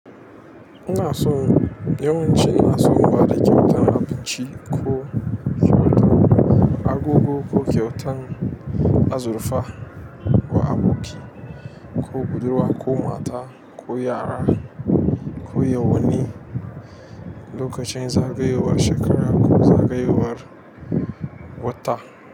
Ina so yawanci ina so in bada kyautan abinci ko kyautar agogo ko kyautan azurfa wa aboki ko budurwa ko mata ko yara ko yawani lokacin zagayowar shekara ko zagayowar wata.